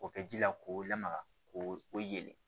O kɛ ji la k'o lamaga ko o ye